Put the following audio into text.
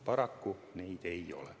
Paraku neid ei ole.